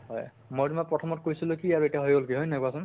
হয় মই তোমাক প্ৰথমত কৈছিলো কি আৰু এটা হৈ গʼল কি হয় নে নহয় কোৱাচোন?